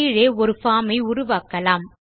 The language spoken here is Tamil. கீழே ஒரு பார்ம் ஐ உருவாக்கலாம்